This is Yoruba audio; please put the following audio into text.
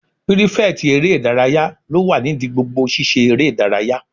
Pírífẹ̀tì eré ìdárayá ló wà nídi gbogbo sisé eré ìdárayá